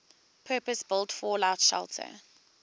purpose built fallout shelter